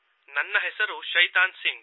ನನ್ನ ಹೆಸರು ಶೈತಾನ್ ಸಿಂಗ್